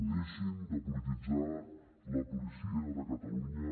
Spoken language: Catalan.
deixin de polititzar la policia de catalunya